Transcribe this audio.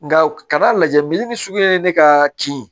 Nka ka n'a lajɛ militi ni suguya ye ne ka ci